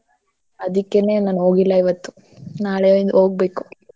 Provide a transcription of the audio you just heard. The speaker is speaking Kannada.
ಅದಿಕ್ಕೆನೆ ನಾನ್ ಹೋಗಿಲ್ಲ ಇವತ್ತು ನಾಳೆ ಹೋಗ್ಬೆಕು.